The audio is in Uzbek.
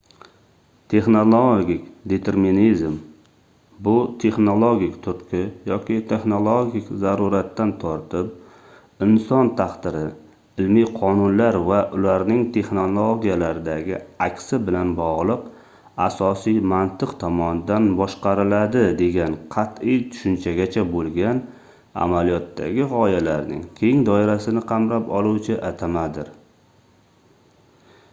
texnologik determinizm bu texnologik turtki yoki texnologik zaruratdan tortib inson taqdiri ilmiy qonunlar va ularning texnologiyalardagi aksi bilan bogʻliq asosiy mantiq tomonidan boshqariladi degan qatʼiy tushunchagacha boʻlgan amaliyotdagi gʻoyalarning keng doirasini qamrab oluvchi atamadir